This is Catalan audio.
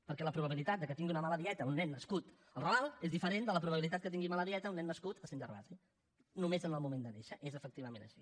perquè la probabilitat que tingui una mala dieta un nen nascut al raval és diferent de la probabilitat que tingui mala dieta un nen nascut a sant gervasi només en el moment de néixer és efectivament així